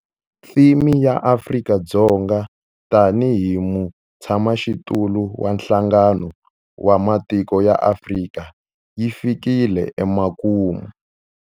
Theme ya Afrika-Dzonga tanihi mutshamaxitulu wa Nhlangano wa Matiko ya Afrika yi fikile emakumu.